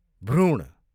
भ्रूण